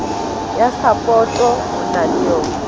ya sapoto o na le